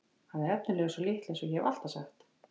Hann er efnilegur sá litli eins og ég hef alltaf sagt.